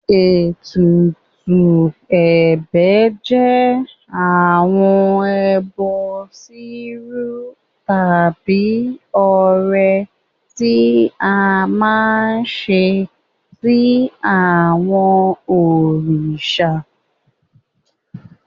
Ètùtù ẹ̀bẹ̀ jẹ́ àwọn ẹbọ rírú tàbí ọrẹ tí a máa ń ṣe sí àwọn òrìṣà.